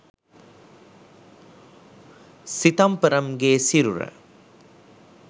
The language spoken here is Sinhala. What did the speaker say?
සිතම්පරම්ගේ සිරුර